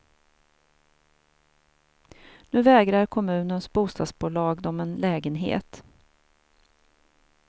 Nu vägrar kommunens bostadsbolag dem en lägenhet.